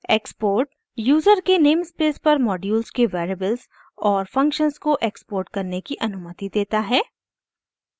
export user के namespace पर modules के वेरिएबल्स और फंक्शन्स को एक्सपोर्ट करने की अनुमति देता है